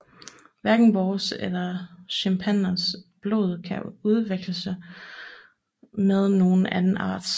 Hverken vores eller chimpansernes blod kan udveksles med nogen anden arts